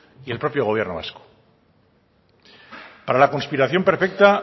y el propio gobierno vasco para la conspiración perfecta